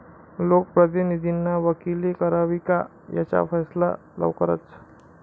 लोकप्रतिनिधींनी वकिली करावी का? याचा फैसला लवकरच!